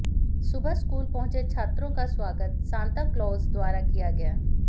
सुबह स्कूल पहुंचे छात्रों का स्वागत सांता क्लॉज द्वारा किया गया